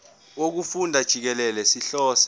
wokufunda jikelele sihlose